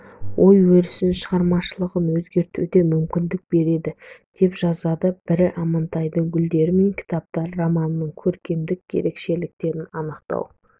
ой-өрісін шығармашылығын көрсетуге мүмкіндік береді деп жазады бірі амантайдың гүлдер мен кітаптар романының көркемдік ерекшеліктерін анықтау